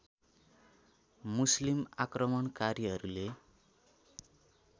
मुस्लिम आक्रमणकारीहरूले